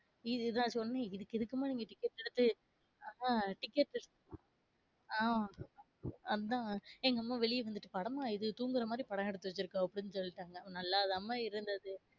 இதுதான் சொன்னேன் இதுக்கு எதுக்குமா ஆஹ் அதான் எங்க அம்மா வெளியவந்துட்டு படமா இது, தூங்குற மாதிரி படம் எடுத்து வச்சுருக்காங்க அப்டினு சொல்லிட்டாங்க நல்லாதனமா இருந்தது.